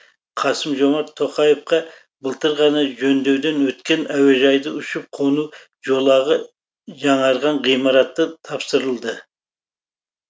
қасым жомарт тоқаевқа былтыр ғана жөндеуден өткен әуежайдың ұшып қону жолағы жаңарған ғимараты тапсырылды